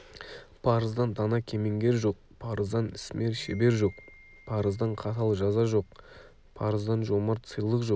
парыздан дана кемеңгер жоқ парыздан ісмер шебер жоқ парыздан қатал жаза жоқ парыздан жомарт сыйлық жоқ